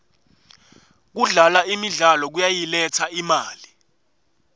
kudlala imidlalo kuyayiletsa imali